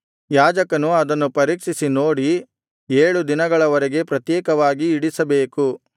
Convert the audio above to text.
ಯಾಜಕನು ಅದನ್ನು ಪರೀಕ್ಷಿಸಿ ನೋಡಿ ಏಳು ದಿನಗಳ ವರೆಗೆ ಪ್ರತ್ಯೇಕವಾಗಿ ಇಡಿಸಬೇಕು